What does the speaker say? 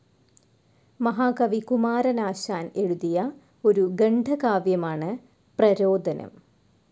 മഹാകവി കുമാരനാശാൻ എഴുതിയ ഒരു ഖണ്ഡകാവ്യമാണ് പ്രരോദനം.